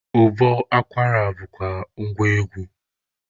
Ụbọ akwara bụkwa ngwa egwu.